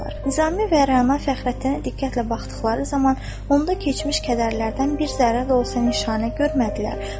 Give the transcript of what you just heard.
Nizami və Rəna Fəxrəddinə diqqətlə baxdıqları zaman onda keçmiş kədərlərdən bir zərrə də olsa nişanə görmədilər.